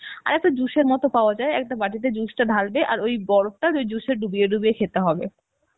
আর একটা juice এর মত পাওয়া যায়, একটা বাটিতে juice টা ঢালবে, আর ওই বরফটা ওই juice এ ডুবিয়ে ডুবিয়ে খেতে হবে